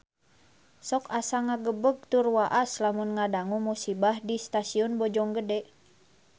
Sok asa ngagebeg tur waas lamun ngadangu musibah di Stasiun Bojonggede